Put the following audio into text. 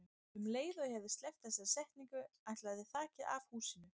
Um leið og ég hafði sleppt þessari setningu ætlaði þakið af húsinu.